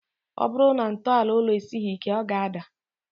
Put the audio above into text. Ọ bụrụ na ntọala ụlọ esighi ike, ọ ga-ádà